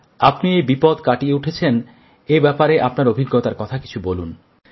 আপনি এই বিপদ কাটিয়ে উঠেছেন এ ব্যাপারে আপনার অভিজ্ঞতার কথা কিছু বলুন